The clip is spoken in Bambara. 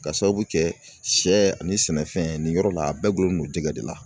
Ka sababu kɛ sɛ ani sɛnɛfɛn nin yɔrɔ la a bɛɛ dulonlen don jɛgɛ de la